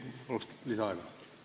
Paluks lisaaega!